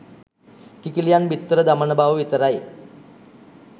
කිකිළියන් බිත්තර දමන බව විතරයි.